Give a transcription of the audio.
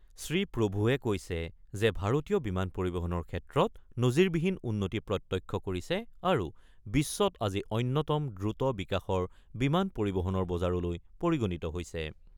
শ্ৰীপ্ৰভুৱে কৈছে যে, ভাৰতীয় বিমান পৰিবহণৰ ক্ষেত্ৰত নজিৰবিহীন উন্নতি প্ৰত্যক্ষ কৰিছে আৰু বিশ্বত আজি অন্যতম দ্ৰুত বিকাশৰ বিমান পৰিবহণৰ বজাৰলৈ পৰিগণিত হৈছে।